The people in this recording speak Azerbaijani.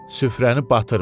Süfrəni batırma.